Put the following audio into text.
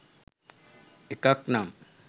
එකක් නම්